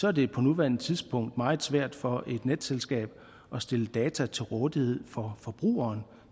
er det på nuværende tidspunkt meget svært for et netselskab at stille data til rådighed for forbrugeren